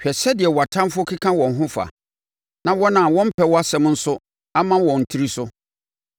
Hwɛ sɛdeɛ wʼatamfoɔ keka wɔn ho fa, na wɔn a wɔmpɛ wʼasɛm nso ama wɔn tiri so.